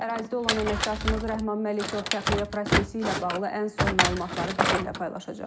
Ərazidə olan əməkdaşımız Rəhman Məlikov təxliyə prosesi ilə bağlı ən son məlumatları bizimlə paylaşacaq.